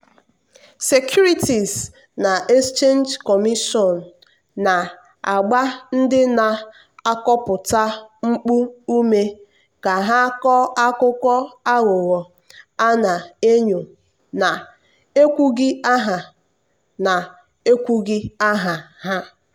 securities and exchange commission na-agba ndị na-akọpụta mpụ ume ka ha kọọ akụkọ aghụghọ a na-enyo na-ekwughị aha na-ekwughị aha ha.